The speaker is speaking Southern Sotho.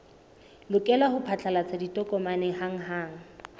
lokela ho phatlalatsa ditokomane hanghang